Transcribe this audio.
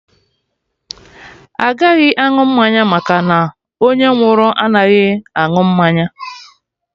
Agaghị aṅụ mmanya maka na onye nwụrụ anaghị anụ mmanya